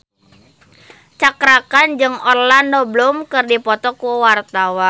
Cakra Khan jeung Orlando Bloom keur dipoto ku wartawan